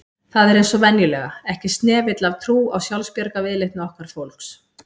Það er eins og venjulega, ekki snefill af trú á sjálfsbjargarviðleitni okkar fólks